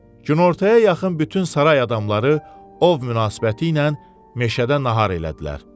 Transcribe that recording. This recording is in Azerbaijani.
Günortaya yaxın bütün saray adamları ov münasibəti ilə meşədə nahar elədilər.